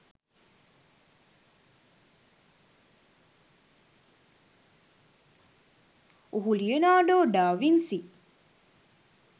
ඔහු Leonardo da Vinci